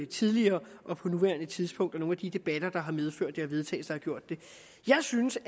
tidligere og på nuværende tidspunkt og om nogle af de debatter der har medført vedtagelsen jeg synes